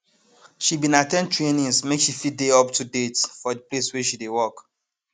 she bin at ten d trainings make she fit dey up to date for the place wey she dey work